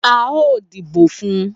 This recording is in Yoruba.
A o dìbò fún